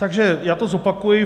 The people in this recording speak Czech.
Takže já to zopakuji.